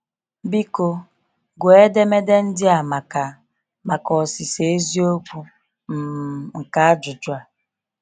Biko, gụọ edemede ndị a maka maka ọsịsa eziokwu um nke ajụjụ a.